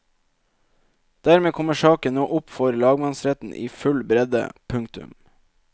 Dermed kommer saken nå opp for lagmannsretten i full bredde. punktum